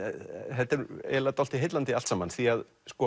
þetta eiginlega dálítið heillandi allt saman því